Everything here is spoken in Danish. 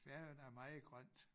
Færøerne er meget grønt